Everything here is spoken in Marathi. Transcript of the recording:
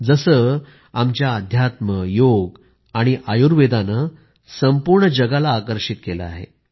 जसे आमचं अध्यात्म योग आयुर्वेदानं सर्व जगाला आकर्षित केलं आहे